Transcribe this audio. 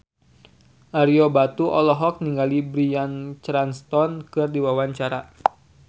Ario Batu olohok ningali Bryan Cranston keur diwawancara